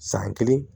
San kelen